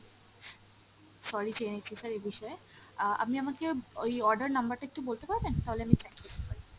sorry চেয়ে নিচ্ছি sir এই বিষয়ে, আহ আপনি আমাকে ওই order number টা একটু বলতে পারবেন তাহলে আমি track করতে পারি।